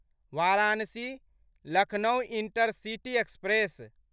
Varanasi Lucknow intercity express